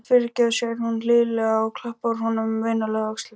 Fyrirgefðu, segir hún hlýlega og klappar honum vinalega á öxlina.